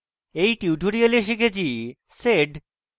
in tutorial শিখেছি sed